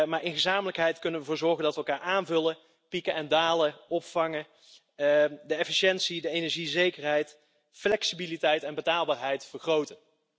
Maar tezamen kunnen wij ervoor zorgen dat wij elkaar aanvullen, elkaars pieken en dalen opvangen en de efficiëntie, energiezekerheid, flexibiliteit en betaalbaarheid vergroten.